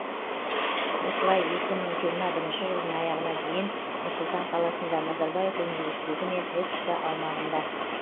осылай екі мың жиырма бірінші жылдың аяғына дейін нұр сұлтан қаласында назарбаев университеті мен экспо аумағында